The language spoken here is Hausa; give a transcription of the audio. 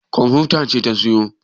ƙanwa ta ce ta siyo